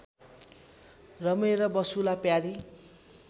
रमेर बसुँला प्यारी